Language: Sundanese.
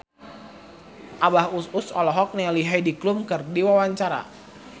Abah Us Us olohok ningali Heidi Klum keur diwawancara